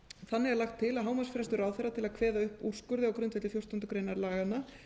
þannig er lagt til að hámarksfrestur ráðherra til að kveða upp úrskurði á grundvelli fjórtándu greinar laganna